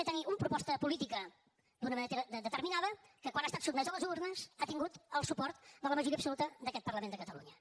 a tenir una proposta política determinada que quan ha estat sotmesa a les urnes ha tingut el suport de la majoria absoluta d’aquest parlament de catalunya